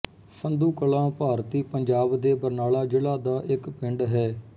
ਸੰਧੂ ਕਲਾਂ ਭਾਰਤੀ ਪੰਜਾਬ ਦੇ ਬਰਨਾਲਾ ਜ਼ਿਲ੍ਹਾ ਦਾ ਇੱਕ ਪਿੰਡ ਹੈ